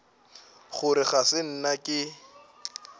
gore ga se nna ke